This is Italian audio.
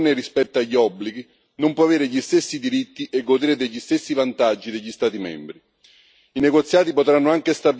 Un paese fuori dall'Unione che non ne rispetta gli obblighi non può avere gli stessi diritti e godere degli stessi vantaggi degli Stati membri.